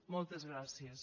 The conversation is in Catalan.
moltes gràcies